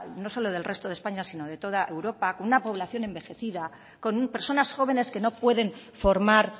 no solo del resto de españa sino de toda europa con una población envejecida con personas jóvenes que no pueden formar